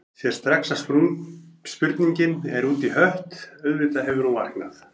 Sér strax að spurningin er út í hött, auðvitað hefur hún vaknað.